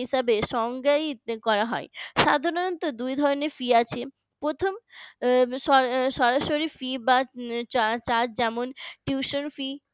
হিসাবে সংজ্ঞায় করা হয় সাধারণত দুই ধরনের fee আছে প্রথম সরাসরি fee বা যার যেমন tuition fee